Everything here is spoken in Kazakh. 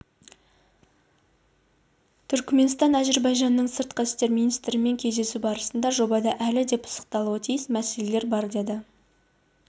түркіменстан әзірбайжанның сыртқы істер министрлерімен кездесуі барысында жобада әлі де пысықталуы тиіс мәселелер бар деді